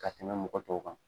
Ka tɛmɛ mɔgɔ tɔw kan.